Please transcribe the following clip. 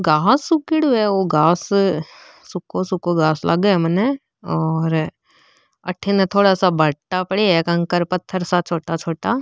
घास उगेडो हैओ घास सूखों सूखों घास लागे मने ओर आतिने भाटा पड़ा है कंकर पत्थर सा छोटा छोटा।